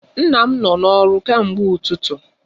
Nna m nọ n'ọrụ kemgbe ụtụtụ.